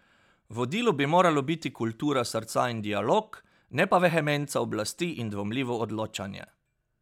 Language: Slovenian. Vodilo bi moralo biti kultura srca in dialog, ne pa vehemenca oblasti in dvomljivo odločanje.